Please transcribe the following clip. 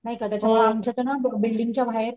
नाही का त्यामुळे आमच्या तर ना बिल्डिंग च्या बाहेर,